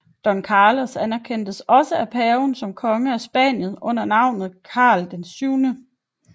Don Carlos anerkendtes også af paven som konge af Spanien under navnet Karl VII